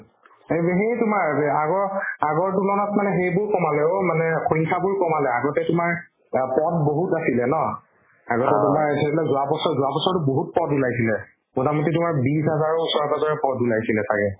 এই যে সেই তোমাৰ যে আগৰ আগৰ তুলনাত মানে সেইবোৰ কমালে অ' মানে পইচাবোৰ কমালে আগতে তোমাৰ অ পদ বহুত আছিলে ন আগতে তোমাৰ সেইবিলাক যোৱাবছৰ যোৱাবছৰতো বহুত পদ ওলাইছিলে প্ৰথমতে তোমাৰ বিশ হাজাৰৰ ওচৰে-পাজৰে পদ ওলাইছিলে ছাগে